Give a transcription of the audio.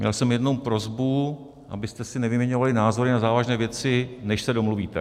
Měl jsem jenom prosbu, abyste si nevyměňovali názory na závažné věci, než se domluvíte.